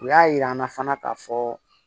U y'a yir'an na fana k'a fɔ